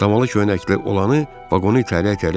Damalı köynəkli olanı vaqonu itələyə-itələyə dedi.